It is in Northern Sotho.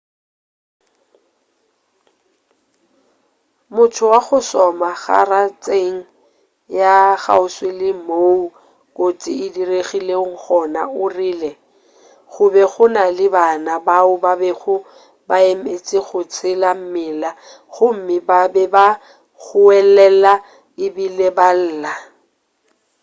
motho wa go šoma garatšeng ya kgauswi le moo kotsi e diregilego gona o rile go be go na le bana bao ba bego ba emetše go tsela mmila gomme ba be ba goelela ebile ba lla